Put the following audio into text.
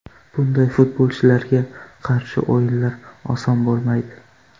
Bunday futbolchilarga qarshi o‘yinlar oson bo‘lmaydi.